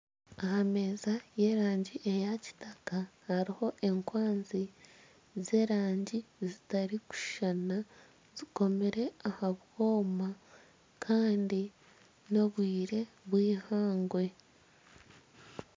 Aha meeza ey'erangi eya kitaka hariho enkwanzi z'erangi zitarikushushana zikomire aha bwoma kandi n'obwire bw'eihangwe.